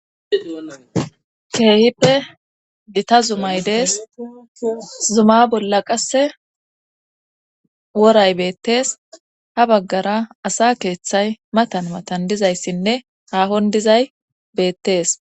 keehippe gita zumay dees zuma bolla qasse woray beettees ha baggara asa keeththay matan matan dizayssinne haahon dizay beettees